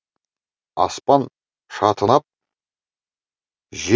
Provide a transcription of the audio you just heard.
аспан шатынап же